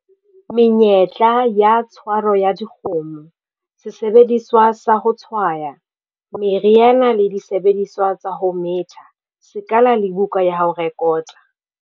Menyetla ya tshwaro ya dikgomo, Sesebediswa sa ho tshwaya, meriana le disebediswa tsa ho metha, sekala le buka ya ho rekota.